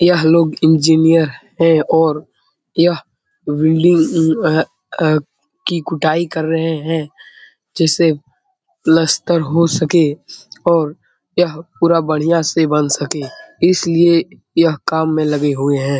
यह लोग इंजिनियर है और यह बिल्डिंग की कुटाई कर रहे है जिससे प्लास्टर हो सके और यह पूरा बढ़ियाँ से बन सके इसलिए यह काम में लगे हुए है ।